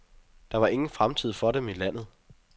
Der var ingen fremtid for dem i landet.